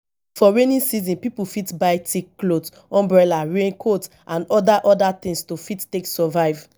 for rainy season pipo fit buy thick cloth umbrella rain coat and oda oda things to fit take survive